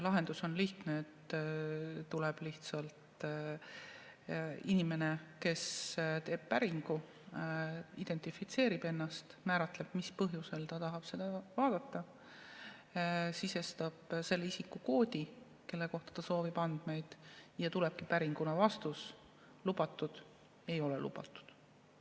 Lahendus on lihtne: tuleb lihtsalt inimene, kes teeb päringu, identifitseerib ennast, määratleb, mis põhjusel ta tahab seda vaadata, sisestab selle inimese isikukoodi, kelle kohta ta soovib andmeid, ja tulebki päringule vastus, kas on lubatud või ei ole lubatud.